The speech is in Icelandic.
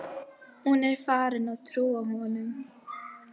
Hún er farin að trúa honum.